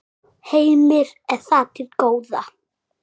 Heimir: Er það til góða?